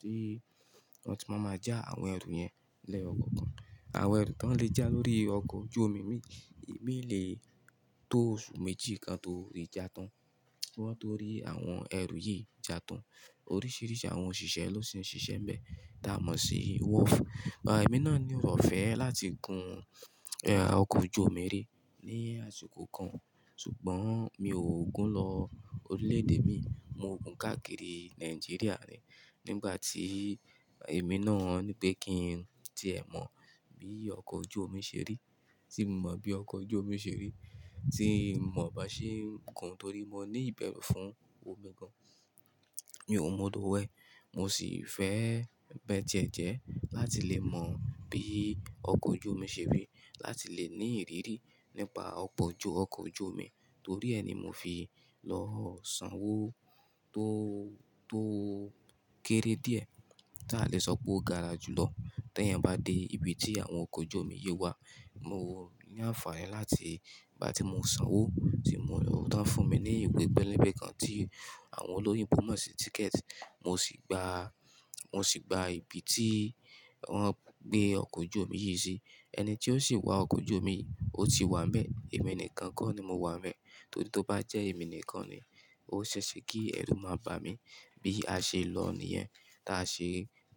Tí wọ́n sì máa ma ja àwọn ẹrù yẹn lẹ́yọkọ̀okan. Àwọn ẹrù tón lè já lórí ọkọ̀ ojú omi imí, imí lè tó oṣù méjì kan torí já tán. Ki wọ́n torí àwọn ẹrù yìí já tán. Oríṣiríṣi àwọn òṣìṣẹ́ ló ṣì ń ṣiṣẹ́ níbẹ̀, ta mọ̀ sí wharf. Ẹ̀mí náà ni ore ofẹ́ láti gun ọkọ̀ ojú omi rí ní àsìkò kan ṣùgbọ́n mi ò gun lọ orílẹ̀ èdè mii. Mo gun káàkiri Nàìjíríà ni. Nígbà tí èmi náà nípé kí n tì ẹ́ mọ̀ bí ọkọ̀ ojú omi ṣe rí, tí mo mọ̀ bí ọkọ̀ ojú omi ṣe rí, tí mò bá ṣe ń gun torí mo ní ìbẹ́rù fún omi gan-an. Mi ò mọ òdò wẹ̀, mo sì fẹ́ bẹ́ẹ̀ díẹ̀ díẹ̀ láti lè mọ̀ bí ọkọ̀ ojú omi ṣe rí, láti lè ní ìrírí nípa ọkọ̀ ojú, ọkọ̀ ojú omi. Torí ẹ́ ni mo fi lọ sanwó tó, tó kéré díẹ̀ táa lè sọ pé ó gara lájùlọ. Tẹ́yan bá dé ibi tí àwọn ọkọ̀ ojú omi yìí wà, mo ní àǹfààní láti ìgbà tí mo sanwó tí mo rlò tán fún mi ní ìwé pẹ́lẹ̀bẹ́ kan tí àwọn olóyìnbo mọ̀ sí ticket. Mo sì gba, mo sì gba ibi tí wọ́n gbé ọkọ̀ ojú omi yìí sí. Ẹni tí ó sì wá ọkọ̀ ojú omi yi, ó ti wá n bẹ́, èmi nìkan kọ́ ni mo wá n bẹ́. Torí tó bá jẹ́ èmi nìkan ni, ó ṣẹ́ṣẹ kí ẹrú máa ba mi bí a ṣe lọ̀ níyẹn táa ṣe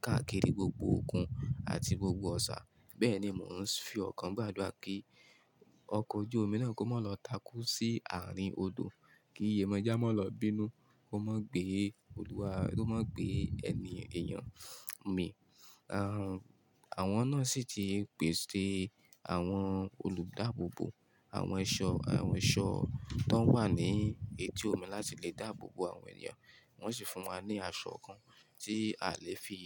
káàkiri gbogbo òkun àti gbogbo òòṣà. Bẹ́ẹ̀ ni mò ń fi ọkàn gbàdúrà kí ọkọ̀ ojú omi náà kó má lọ takú sí àárín odò, kí iye mọjá má lọ bínú, kó má gbé olúwa, kó má gbé ẹmi èèyàn mi. Àwọn náà sì ti pèsè àwọn olùdáàbòbò, àwọn eṣọ, àwọn eṣọ tón wà ní etí omi láti lè dáàbòbò àwọn ènìyàn. Wọ́n sì fún wa ní aṣọ kan tí a lè fi,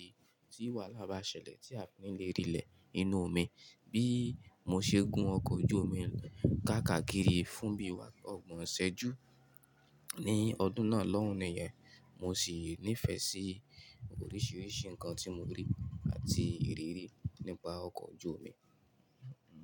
tí wahala bá ṣẹlẹ̀ tí a o fi ní lè rìlẹ̀ ni inú omi. Bí mo ṣe gun ọkọ̀ ojú omi káàkakiri fún bí i wá ọgbọ̀n ọṣẹ ju ní ọdún náà lọ́hùn-ún nìyẹn, mo sì nífẹ̀ẹ́ sí oríṣiríṣi nǹkan tí mo rí àti ìrírí nípa ọkọ̀ ojú omi.